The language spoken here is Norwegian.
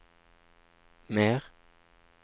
mer